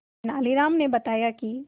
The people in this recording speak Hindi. तेनालीराम ने बताया कि